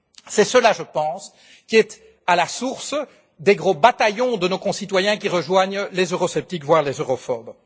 C'est cela, je pense, qui est à la source des gros bataillons de nos concitoyens qui rejoignent les eurosceptiques, voire les europhobes.